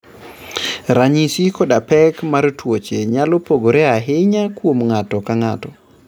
Ranyisi koda pek mar tuoche nyalo pogore ahinya kuom ng'ato ka ng'ato.